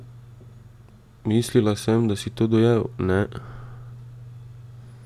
Mislila, sem, da si to dojel, ne?